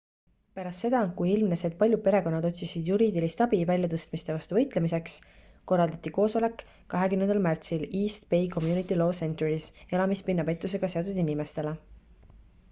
pärast seda kui ilmnes et paljud perekonnad otsisid juriidilist abi väljatõstmiste vastu võitlemiseks korraldati koosoleks 20 märtsil east bay community law centeris elamispinna pettusega seotud inimestele